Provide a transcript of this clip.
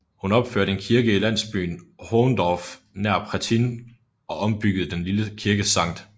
Hun opførte en kirke i landsbyen Hohndorf nær Prettin og ombyggede den lille kirke St